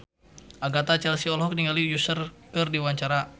Agatha Chelsea olohok ningali Usher keur diwawancara